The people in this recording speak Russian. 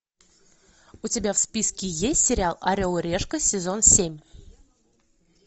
у тебя в списке есть сериал орел и решка сезон семь